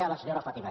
a la senyora fàtima